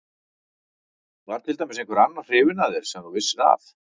Var til dæmis einhver annar hrifinn af þér sem þú vissir af?